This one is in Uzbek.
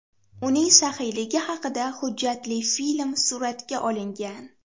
Uning saxiyligi haqida hujjatli film suratga olingan.